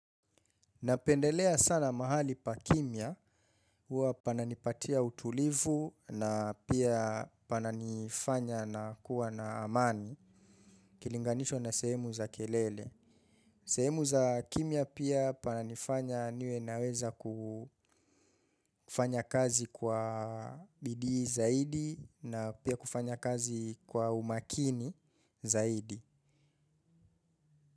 Napendelea sana mahali pa kimya. Huwa pananipatia utulivu na pia pananifanya nakuwa na amani. Ikilinganishwa na sehemu za kelele. Sehemu za kimya pia pananifanya niwe naweza kufanya kazi kwa bidii zaidi na pia kufanya kazi kwa umakini zaidi.